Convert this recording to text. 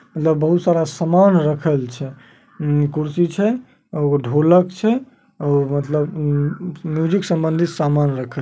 मतलब बहुत सारा रखल छै। अ-म-म कुर्सी छै और एगो ढोलक छै। और मतलब म-म-म्यूजिक संबंधित सामान रखल ।